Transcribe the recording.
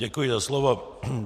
Děkuji za slovo.